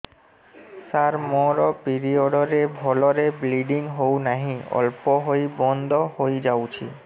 ସାର ମୋର ପିରିଅଡ଼ ରେ ଭଲରେ ବ୍ଲିଡ଼ିଙ୍ଗ ହଉନାହିଁ ଅଳ୍ପ ହୋଇ ବନ୍ଦ ହୋଇଯାଉଛି